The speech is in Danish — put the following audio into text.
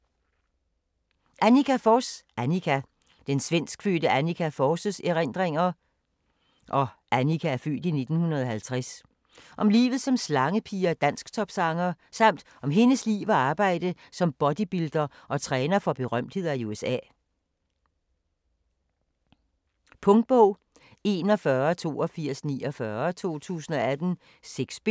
Forss, Anniqa: Anniqa Den svenskfødte Anniqa Forss' (f. 1950) erindringer om livet som slangepige og dansktopsanger, samt om hendes liv og arbejde som bodybuilder og træner for berømtheder i USA. Punktbog 418249 2018. 6 bind.